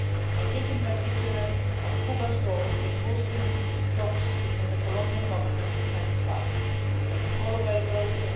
I think, in particular, of Cuba's role in hosting talks between the Colombian Government and the FARC, which we followed very closely.